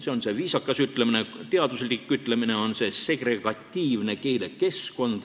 See on see viisakas ütlemine, teaduslik ütlemine on "segregatiivne keelekeskkond".